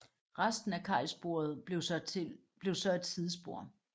Resten af kajsporet blev så et sidespor